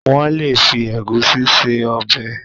wón lè fi Egusi ṣe Ọbẹ̀